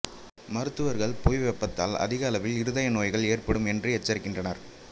மருத்துவர்கள் புவி வெப்பத்தால் அதிக அளவில் இருதய நோய்கள் ஏற்படும் என்று எச்சரிக்கின்றனர்